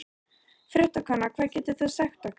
Fréttakona: Hvað getur þú sagt okkur?